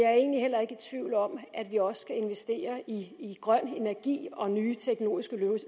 jeg er egentlig heller ikke i tvivl om at vi også skal investere i grøn energi og nye teknologiske